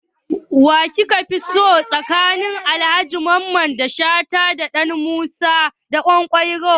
Wa kika fi so tsakanin Alhaji Mamman Shata da Alhaji Musa Ɗanƙwairo?